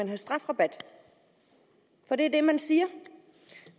give strafrabat for det er det man siger